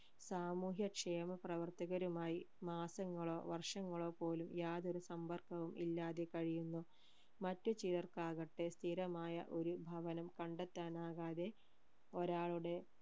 സാമൂഹ്യക്ഷേമ പ്രവർത്തകരുമായി മാസങ്ങളോ വർഷങ്ങളോ പോലും യാതൊരു സമ്പർക്കവും ഇല്ലാതെ കഴിയുന്നു മറ്റ് ചിലർക്ക് ആകട്ടെ സ്ഥിരമായ ഒരു ഭവനം കണ്ടെത്താനാകാതെ ഒരാളുടെ